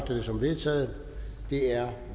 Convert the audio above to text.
jeg det som vedtaget det er